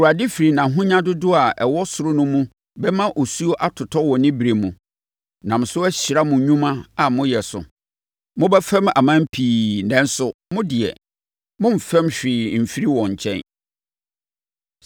Awurade firi nʼahonya dodoɔ a ɛwɔ soro no mu bɛma osuo atotɔ wɔ ne berɛ mu, nam so ahyira mo nnwuma a moyɛ so. Mobɛfɛm aman pii nanso, mo deɛ, moremfɛm hwee mfiri wɔn nkyɛn.